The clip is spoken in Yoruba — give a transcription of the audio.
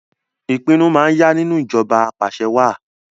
Ìpinnu máa yá nínú ìjọba apàṣẹwàá